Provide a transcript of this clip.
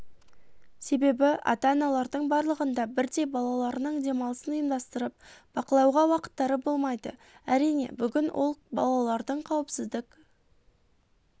себебі ата-аналардың барлығында бірдей балаларының демалысын ұйымдастырып бақылауға уақыттары болмайды әрине бүгінгі күні балалардың қауіпсіздік